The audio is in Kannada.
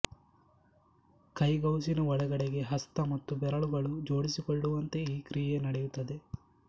ಕೈಗೌಸಿನ ಒಳಗಡೆಗೆ ಹಸ್ತ ಮತ್ತು ಬೆರಳುಗಳು ಜೋಡಿಸಿಕೊಳ್ಳುವಂತೆ ಈ ಕ್ರಿಯೆ ನಡೆಯುತ್ತದೆ